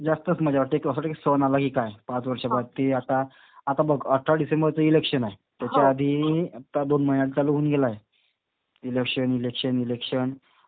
जास्तच मजा वाटते. की असं वाटतं की सण आला की काय. पाच वर्षासाठी. की आता, आता बघ अठरा डिसेंबरचं इलेक्शन आहे. त्याच्या आधी आता दोन महिन्यात चालू होऊन गेलाय. Election, election, election.